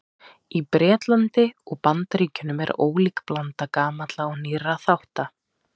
Í Bretlandi og Bandaríkjunum er ólík blanda gamalla og nýrra þátta.